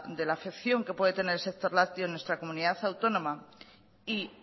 de la afección que puede tener el sector lácteo en nuestra comunidad autónoma y